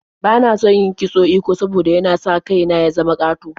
Bana son yin kitson eko saboda yana sa kai na ya zama ƙato.